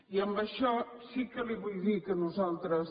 i amb això sí que li vull dir que nosaltres